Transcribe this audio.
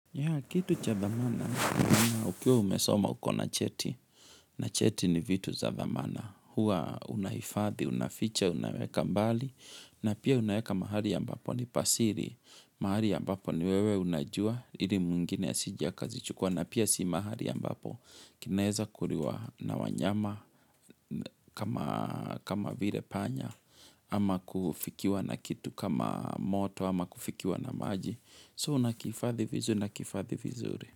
Ya kitu cha dhamana, ukiwa umesoma uko na cheti, na cheti ni vitu za thamana, hua unaifadhi, unaficha, unaweka mbali, na pia unaeka mahali ambapo ni pasiri, mahali ambapo ni wewe unajua ili mwingine asije akazi chukua, na pia si mahali ambapo, kineza kuriwa na wanyama kama vire panya, ama kufikiwa na kitu kama moto, ama kufikiwa na maji. So unakihifadhi vizuri na kifadhi vizuri.